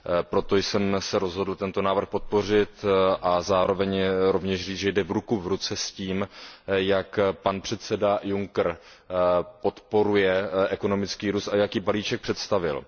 Proto jsem se rozhodl tento návrh podpořit a zároveň rovněž říci, že jde ruku v ruce s tím, jak pan předseda Juncker podporuje ekonomický růst a jaký balíček představil.